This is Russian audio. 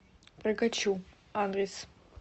прокачу адрес